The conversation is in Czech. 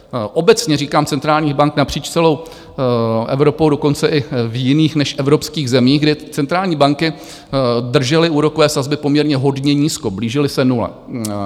Obecně říkám centrálních bank napříč celou Evropou, dokonce i v jiných než evropských zemích, kde centrální banky držely úrokové sazby poměrně hodně nízko, blížily se nule.